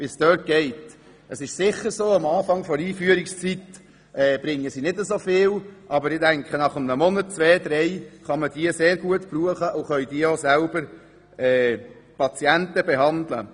Am Anfang ihrer Einführungszeit werden sie sicher nicht so viel Leistung erbringen, aber meines Erachtens kann man sie nach ein bis drei Monaten sehr gut gebrauchen, und sie können dann auch selber Patienten behandeln.